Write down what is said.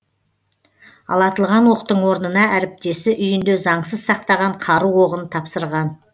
ал атылған оқтың орнына әріптесі үйінде заңсыз сақтаған қару оғын тапсырған